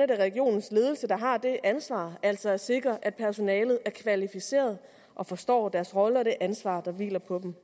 regionens ledelse der har det ansvar altså at sikre at personalet er kvalificeret og forstår deres rolle og det ansvar der hviler på dem